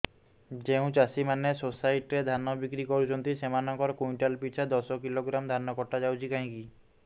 ଯେଉଁ ଚାଷୀ ମାନେ ସୋସାଇଟି ରେ ଧାନ ବିକ୍ରି କରୁଛନ୍ତି ସେମାନଙ୍କର କୁଇଣ୍ଟାଲ ପିଛା ଦଶ କିଲୋଗ୍ରାମ ଧାନ କଟା ଯାଉଛି କାହିଁକି